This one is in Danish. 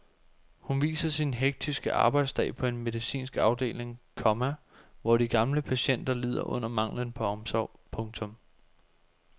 Hun viser sin hektiske arbejdsdag på en medicinsk afdeling, komma hvor de gamle patienter lider under manglen på omsorg. punktum